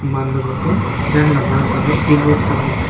man ma gaga jan gamla samey ding ngo chethram ngan tega.